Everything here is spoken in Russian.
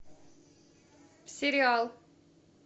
сериал